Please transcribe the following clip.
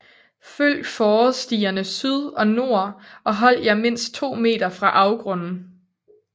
Følg fårestierne syd og nord og hold jer mindst 2 m fra afgrunden